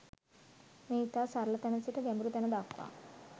මෙය ඉතා සරල තැන සිට ගැඹුරු තැන දක්වා